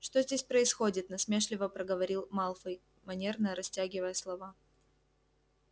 что здесь происходит насмешливо проговорил малфой манерно растягивая слова